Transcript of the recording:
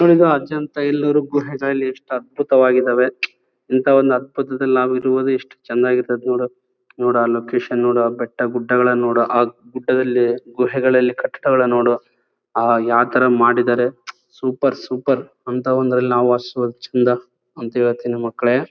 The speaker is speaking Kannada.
ನೋಡಿಯಿದು ಅಜಂತಾ ಎಲ್ಲೋರಾ ಗುಹೆದ ಇಲ್ ಎಸ್ಟ್ ಅದ್ಭುತವಾಗಿದವೆ ಇಂಥವನ್ನ ಅದ್ಭುತದಲ್ಲಿ ನಾವು ಇರುವುದು ಎಸ್ಟ್ ಚೆನ್ನಾಗಿ ಇರ್ತಾದ್ದೆ ನೋಡೋಕ್ಕೆ ನೋಡಾ ಆ ಲೊಕೇಶನ್ ನೋಡಾ ಆ ಬೆಡ್ಡ ಗುಡ್ಡಗಳನ್ನ ನೋಡಾ ಆ ಗುಡ್ಡದಲ್ಲಿ ಗುಹೆಗಳಲ್ಲಿ ಕಟ್ಟಡಗಳನ್ನೂ ನೋಡು ಯಾವತರ ಮಾಡ್ಬೇಕು ಆಹ್ಹ್ ಯಾವತರ ಮಾಡಿದ್ದಾರೆ ಸೂಪರ್ ಸೂಪರ್ ಅಂತ ಒಂದರಲ್ಲಿ ನಾವು ವಾಸಿಸುವುದು ಚೆಂದ ಅಂತ ಹೇಳ್ತಿನಿ ಮಕ್ಕಳೇ.